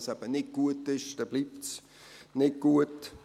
Wenn es eben nicht gut ist, dann bleibt es nicht gut.